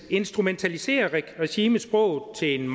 instrumentaliserer regimet sproget til en